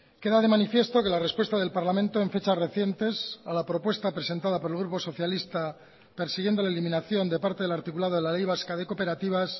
queda de manifiesto que la respuesta del parlamento en fechas recientes a la propuesta presentada por el grupo socialista persiguiendo la eliminación de parte del articulado de la ley vasca de cooperativas